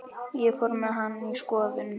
Ég fór með hana í skoðun.